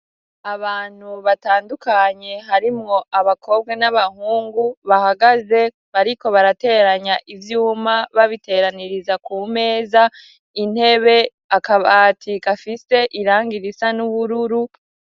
abantu batandukanye harimwo abakobwa n'abahungu bahagaze bariko barateranya ivyuma babiteraniriza ku meza intebe akabati kafise irangi risa n'ubururu